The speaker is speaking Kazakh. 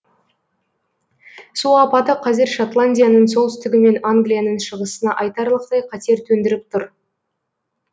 су апаты қазір шотландияның солтүстігі мен англияның шығысына айтарлықтай қатер төндіріп тұр